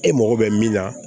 E mago bɛ min na